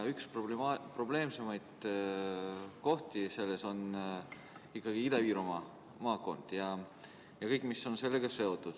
Üks probleemsemaid kohti selle puhul on ikkagi Ida-Virumaa ja kõik, mis on sellega seotud.